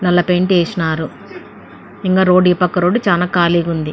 నల్ల పెయింట్ వేసినారు. ఇంకా ఈ రోడ్డు పక్కన రోడ్ చానా ఖాళీగా ఉంది.